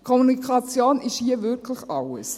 Kommunikation ist hier wirklich alles.